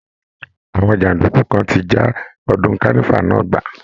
Àwọn jàǹdùkú kan ti já ọdún kánífà náà gbà